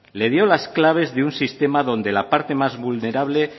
le dio las claves de un sistema donde la parte más vulnerable